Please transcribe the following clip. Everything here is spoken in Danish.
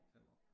5 år